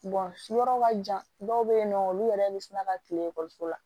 yɔrɔ ka jan dɔw be yen nɔ olu yɛrɛ be siran ka kile ekɔliso la